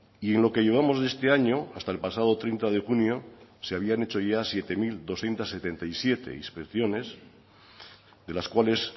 y en lo que llevamos de este año hasta el pasado treinta de junio se habían hecho ya siete mil doscientos setenta y siete inspecciones de las cuales